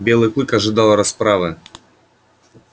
белый клык ожидал расправы